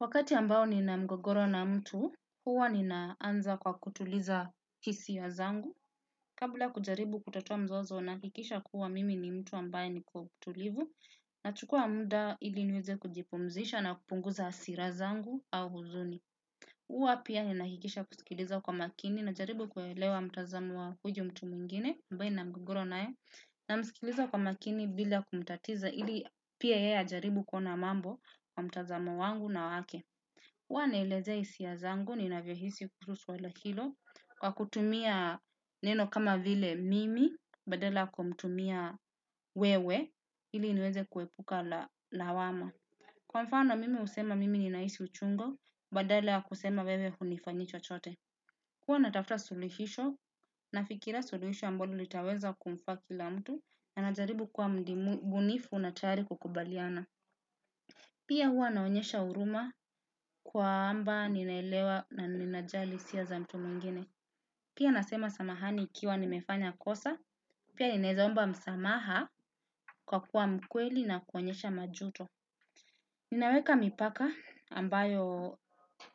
Wakati ambao nina mgogoro na mtu, huwa ni naanza kwa kutuliza hisia zangu. Kabla kujaribu kutatua mzozo, nahakikisha kuwa mimi ni mtu ambaye ni mtulivu, nachukuwa muda ili niweze kujipumzisha na kupunguza hasira zangu au huzuni. Huwa pia ninahakikisha kusikiliza kwa makini, najaribu kuelewa mtazamo wa huyo mtu mwingine, ambaye nina mgogoro naye, namsikiliza kwa makini bila kumtatiza ili pia yeye ajaribu kuona mambo kwa mtazamo wangu na wake. Huwa naelezea hisia zangu ninavyo hisia kuhusu swala hilo, kwa kutumia neno kama vile mimi badala ya kumtumia wewe ili niweze kuepuka lawama. Kwa mfano mimi husema; mimi ninahisi uchungu badala ya kusema wewe hunifanyii chochote. Huwa natafuta sulihisho nafikiria suluhisho ambalo litaweza kumfaa kila mtu na najaribu kuwa mbunifu na tayari kukubaliana. Pia huwa naonyesha huruma kwamba ninaelewa na ninajali hisia za mtu mwingine. Pia nasema samahani ikiwa nimefanya kosa, pia ninawezaomba msamaha kwa kuwa mkweli na kuonyesha majuto. Ninaweka mipaka ambayo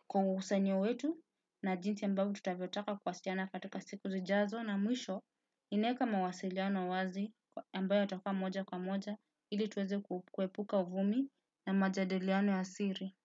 kwa uhusiano wetu na jinsi ambavyo tutakavyo taka kuhusiana katika siku zijazo. Na mwisho, ninaweka mawasiliano wazi ambayo yatakuwa moja kwa moja ili tuweze kuepuka uvumi na majadiliano ya siri.